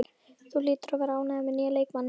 Þú hlýtur að vera ánægður með nýja leikmanninn?